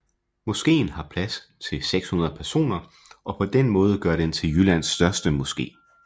Moskeen har plads til 600 personer og på den måde gør den til Jyllands største moske